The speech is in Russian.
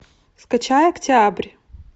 скачай октябрь